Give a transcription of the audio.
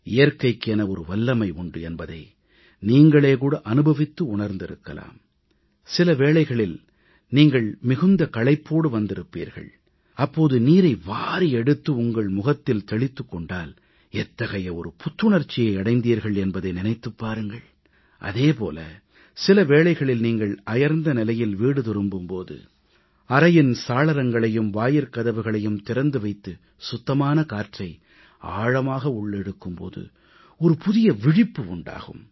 இயற்கைக்கு என வல்லமை உண்டு என்பதை நீங்களே கூட அனுபவித்து உணர்ந்திருக்கலாம் சிலவேளைகளில் நீங்கள் மிகுந்த களைப்போடு வந்திருப்பீர்கள் அப்போது நீரை வாரி எடுத்து உங்கள் முகத்தில் தெளித்துக் கொண்டால் எத்தகைய ஒரு புத்துணர்ச்சியை அடைந்தீர்கள் என்பதை நினைத்துப் பாருங்கள் அதே போல சில வேளைகளில் நீங்கள் அயர்ந்த நிலையில் வீடு திரும்பும் போது அறையின் சாளரங்களையும் வாயிற்கதவுகளையும் திறந்து வைத்து சுத்தமான காற்றை ஆழமாக உள்ளிழுக்கும் போது புதிய விழிப்பு உண்டாகும்